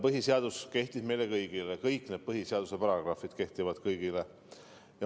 Põhiseadus kehtib meile kõigile, kõik need põhiseaduse paragrahvid kehtivad kõigile.